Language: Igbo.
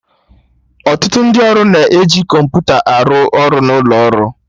Ọtụtụ ndị ọrụ na-eji kọmputa arụ ọrụ n'ụlo ọrụ